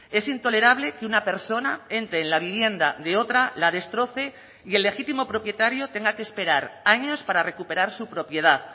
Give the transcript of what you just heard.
es intolerable que una persona entre en la vivienda de otra la destroce y el legítimo propietario tenga que esperar años para recuperar su propiedad